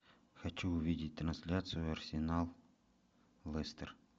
хочу увидеть трансляцию арсенал лестер